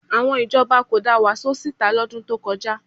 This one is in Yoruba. Àwọn ìjọba kò da Wàsó síta lọ́dún tó kọjá